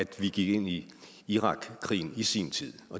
vi gik ind i irakkrigen i sin tid